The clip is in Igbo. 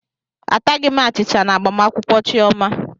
Ataghị m achicha na agbamakwụkwọ Chioma.